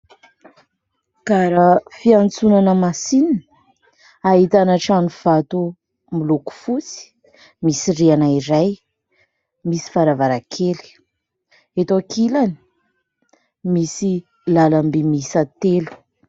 Gara fiantsonana masinina, ahitana trano vato miloko fotsy misy rihana iray, misy varavarankely. Eto ankilany, misy lalam-by miisa telo.